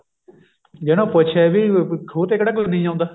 ਜੇ ਇਹਨੂੰ ਪੁੱਛੇ ਵੀ ਖੂਹ ਤੇ ਕਿਹੜਾ ਕੋਈ ਨਹੀ ਆਉਂਦਾ